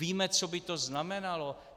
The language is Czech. Víme, co by to znamenalo?